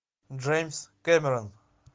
джеймс кэмерон